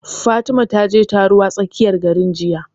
Fatima ta je taro a tsakiyar garin jiya